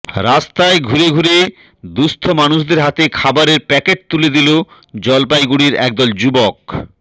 রাস্তায় ঘুরে ঘুরে দুঃস্থ মানুষদের হাতে খাবারের প্যাকেট তুলে দিল জলপাইগুড়ির একদল যুবক